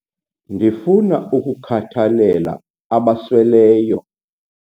Ndifuna ukukhathalela abasweleyo.